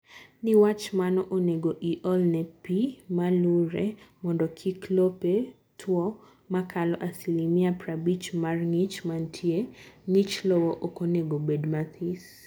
Niwach mano, onego iolne pii malure mondo kik lope two makalo asilimia prabich mar ngich mantie(ngich lowo okonego bed mathis)